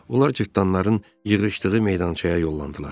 Onlar cırtanların yığışdığı meydançaya yollandılar.